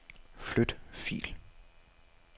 Flyt fil.